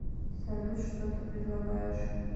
салют что ты предлагаешь